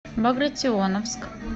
багратионовск